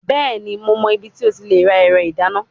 Bẹẹni, Mo mọ ibiti o ti le ra ẹrọ idana